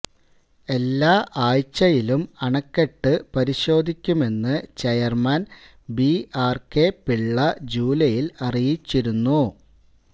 എല്ലാ ആഴ്ചയിലും അണക്കെട്ട് പരിശോധിക്കുമെന്ന് chairman B R K Pillai ജൂലൈയില് അറിയിച്ചിരുന്നു